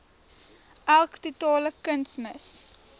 elk totale kunsmis